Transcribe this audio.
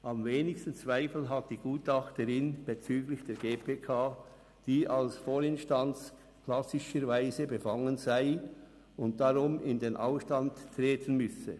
Am wenigsten Zweifel hat die Gutachterin bezüglich der GPK, die als Vorinstanz klassischerweise befangen sei und darum in den Ausstand treten müsse.